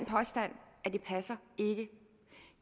er ikke